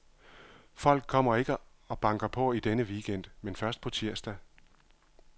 Folk kommer ikke og banker på i denne weekend, men først på tirsdag.